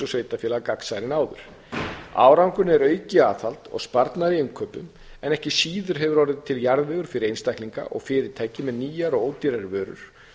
sveitarfélaga gagnsærri en áður árangurinn er aukið aðhald og sparnaður í innkaupum en ekki síður hefur orðið til jarðvegur fyrir einstaklinga og fyrirtæki með nýjar